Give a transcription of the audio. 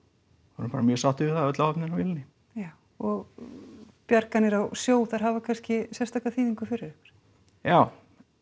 vorum bara mjög sáttir við það öll áhöfnin á vélinni já og bjarganir á sjó þær hafa kannski sérstaka þýðingu fyrir ykkur já